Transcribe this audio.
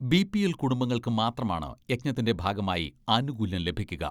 BPL കുടുംബങ്ങൾക്ക് മാത്രമാണ് യജ്ഞത്തിന്റെ ഭാഗമായി ആനുകൂല്യം ലഭിക്കുക.